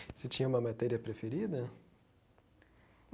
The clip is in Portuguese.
Você tinha uma matéria preferida?